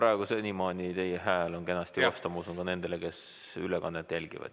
Aga senimaani on teie hääl olnud kenasti kosta, ma usun, ka nendele, kes ülekannet jälgivad.